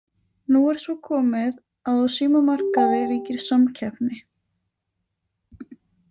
Nú er svo komið að á símamarkaði ríkir samkeppni.